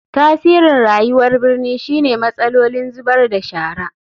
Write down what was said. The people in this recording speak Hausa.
Tasirin rayuwar birni shine matsalolin zubar da shara.